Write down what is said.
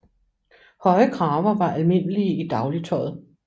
Høje kraver var almindelige i dagligtøjet